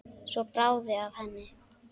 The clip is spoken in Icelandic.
Svo bráði af henni.